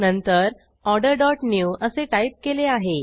नंतर order dot new असे type केले आहे